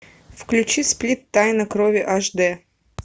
включи сплит тайна крови аш д